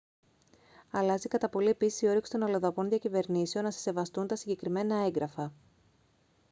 αλλάζει κατά πολύ επίσης η όρεξη των αλλοδαπών διακυβερνήσεων να σε σεβαστούν τα συγκεκριμένα έγγραφα